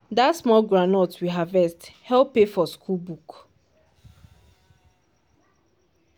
dat small groundnut we harvest help pay for school book.